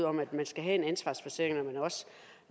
om at man skal have en ansvarsforsikring når